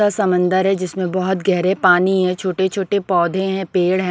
समंदर है जिसमें बहुत गहरे पानी है छोटे-छोटे पौधे हैं पेड़ है ।